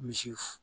Misi